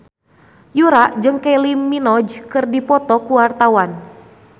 Yura jeung Kylie Minogue keur dipoto ku wartawan